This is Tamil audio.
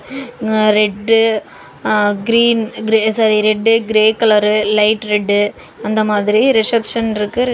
Red ah green sorry red grey colour light red அந்த மாதிரி ரிசப்ஷன் இருக்கு ரிசப்.